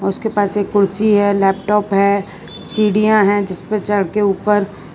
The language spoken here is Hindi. उसके पास एक कुर्सी है लैपटॉप है सीढ़ियां है जिसपे चढ़ के ऊपर --